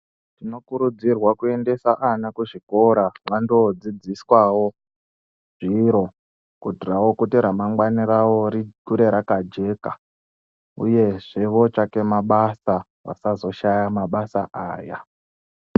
Tinokurudzirwa kuendesa ana kuzvikora vando dzidziswawo zviro kuitirawo kuti ramangwanai ravo rikure rakajeka, uyezve votsvake mabasa vasazoshaya mabasa aya.